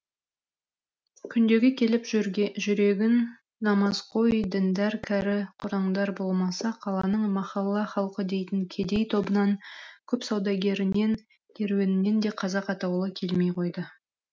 күндегі келіп жүрегін намазқой діндәр кәрі құртаңдар болмаса қаланың махалла халқы дейтін кедей тобынан көп саудагерінен керуенінен де қазақ атаулы келмей қойды